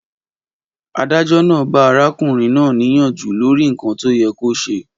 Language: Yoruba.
Adájọ́ náà ba arákùnrin na niyanju lòrínkan to yẹ ko ṣe.